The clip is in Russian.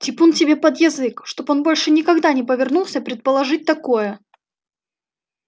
типун тебе под язык чтобы он больше никогда не повернулся предположить такое